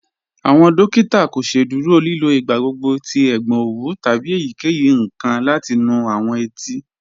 Awọn dòkìtà kò sẹ̀dúrò lìlò igbàgbọ̀gbọ̀ tí ègbọn owú tábí èyíkeyí nkan láti nú awọn ètí.